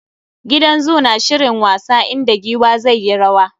Gidan zoo na shirin wasa, inda giwa zai yi rwa.